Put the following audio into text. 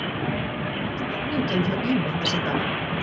Hvernig er stemningin hjá Ými þessa dagana?